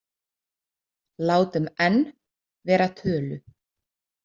Látum n vera tölu.